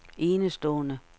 enestående